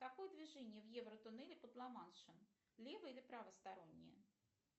какое движение в евротоннеле под ла маншем лево или правостороннее